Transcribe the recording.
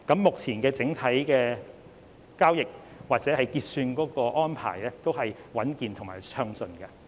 目前整體交易或結算安排都是穩健和暢順的。